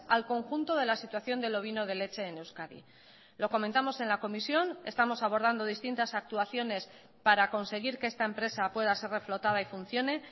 al conjunto de la situación del ovino de leche en euskadi lo comentamos en la comisión estamos abordando distintas actuaciones para conseguir que esta empresa pueda ser reflotada y funcione